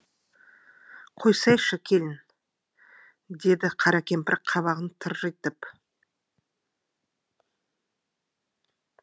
қойсайшы келін деді қара кемпір қабағын тыржитып